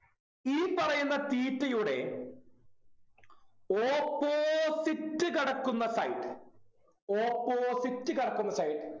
ഈ പറയുന്ന theta യുടെ opposite കിടക്കുന്ന Side opposite കിടക്കുന്ന Side